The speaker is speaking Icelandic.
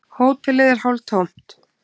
Hótelið er hálftómt.